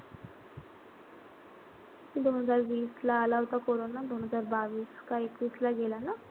दोन हजार वीस ला आला होता कोरोना. दोन हजार बावीस का एकवीस ला गेला ना?